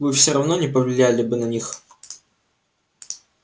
вы всё равно не повлияли бы на них